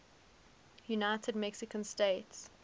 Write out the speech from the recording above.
united mexican states